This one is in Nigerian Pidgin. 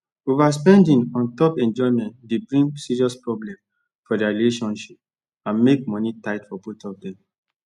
overspending un top enjoyment dey bring serious problem for their relationship and make money tight for both of them